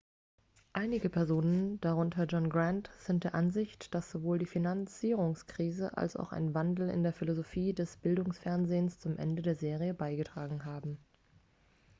einige personen darunter john grant sind der ansicht dass sowohl die finanzierungskrise als auch ein wandel in der philosophie des bildungsfernsehens zum ende der serie beigetragen haben